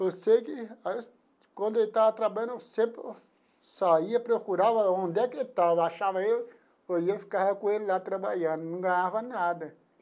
Eu sei que quando ele estava trabalhando, eu sempre saía, procurava onde é que ele estava, achava ele e eu ia e ficava com ele lá trabalhando, não ganhava nada.